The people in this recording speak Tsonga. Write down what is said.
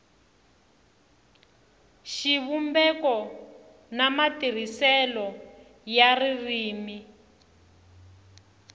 xivumbeko na matirhiselo ya ririmi